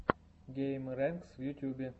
геймрэнкс в ютьюбе